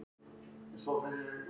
spyr sá ungi.